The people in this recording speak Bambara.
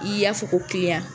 I y'a fɔ ko